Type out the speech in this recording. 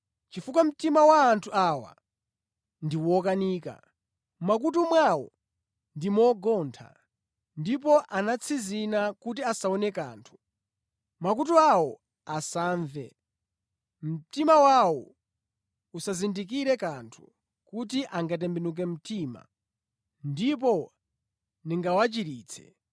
Pakuti mtima wa anthu awa ndi wokanika, mʼmakutu mwawo ndi mogontha, ndipo atsinzina kuti asaone kanthu. Mwina angapenye ndi maso awo, angamve ndi makutu awo, angamvetse ndi nzeru zawo ndi kutembenuka, Ineyo nʼkuwachiritsa.’